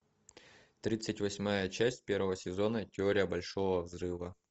тридцать восьмая часть первого сезона теория большого взрыва